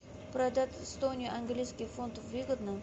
продать сто английских фунтов выгодно